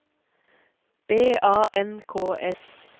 B A N K S